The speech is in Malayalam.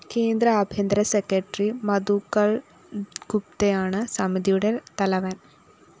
കേന്ദ്ര ആഭ്യന്തര സെക്രട്ടറി മധുകര്‍ഗുപ്തയാണ് സമിതിയുടെ തലവന്‍